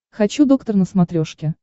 хочу доктор на смотрешке